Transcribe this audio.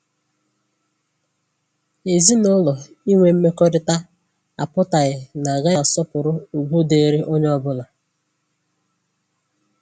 Ezinụlọ inwe mmekọrịta apụtaghị na agaghị asọpụrụ ugwu dịịrị onye ọbụla